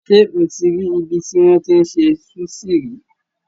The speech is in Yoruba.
Ṣé o ti rí ibi tí wọ́n ti ń se súṣì rí?